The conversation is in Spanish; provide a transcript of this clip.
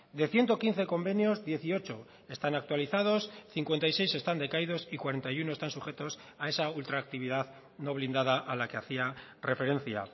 de ciento quince convenios dieciocho están actualizados cincuenta y seis están decaídos y cuarenta y uno están sujetos a esa ultraactividad no blindada a la que hacía referencia